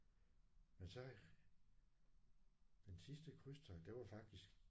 Men så den sidste krydstogt det var faktisk